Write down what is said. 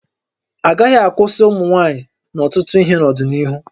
Agaghị akwụsị ụmụ nwaanyị n'ọtụtụ ihe n'ọdịnihu